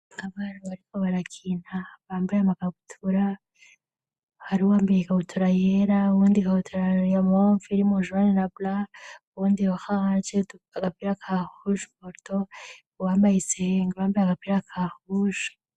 Abara bariko barakinta bambaye amagabutura hari uwo ambiye igabutura yera uwundi kabuturaniyamwomu filimu juani labla uwundi hahahace agapila ka hushe moto uwambaye isehengaramba agapila ka hushe.